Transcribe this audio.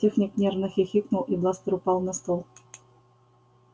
техник нервно хихикнул и бластер упал на стол